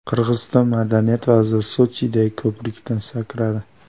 Qirg‘iziston madaniyat vaziri Sochidagi ko‘prikdan sakradi.